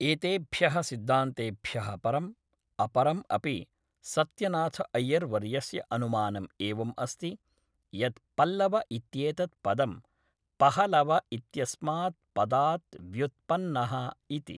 एतेभ्य़ः सिद्धान्तेभ्यः परम्, अपरम् अपि सत्यनाथ अय्यर् वर्यस्य अनुमानम् एवम् अस्ति यत् पल्लव इत्येतत् पदं पहलव इत्यस्मात् पदात् व्युत्पन्नः इति।